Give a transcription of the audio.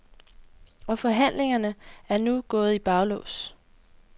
Og forhandlingerne er nu gået i baglås.